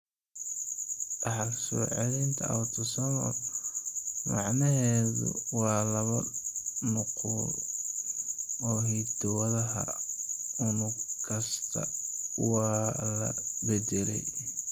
Dhaxal-soo-celinta autosomal macnaheedu waa laba nuqul oo hiddo-wadaha unug kasta waa la beddelay.